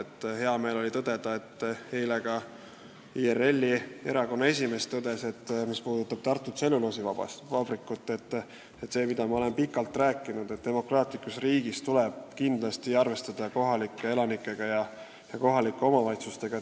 Mul on hea meel, et eile tõdes ka IRL-i esimees seoses Tartu tselluloosivabrikuga, et demokraatlikus riigis tuleb kindlasti arvestada kohalike elanikega ja kohaliku omavalitsusega.